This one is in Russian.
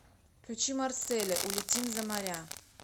включи марселя улетим за моря